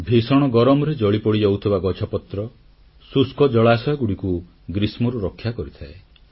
ଭୀଷଣ ଗରମରେ ଜଳିପୋଡ଼ି ଯାଉଥିବା ଗଛପତ୍ର ଶୁଷ୍କ ଜଳାଶୟଗୁଡ଼ିକୁ ଗ୍ରୀଷ୍ମରୁ ରକ୍ଷା କରିଥାଏ